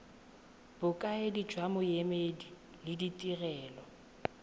bokaedi jwa boemedi le ditirelo